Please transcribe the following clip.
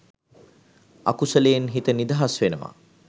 අකුසලයෙන් හිත නිදහස් වෙනවා